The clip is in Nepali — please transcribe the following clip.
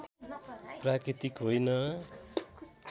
प्राकृतिक होइन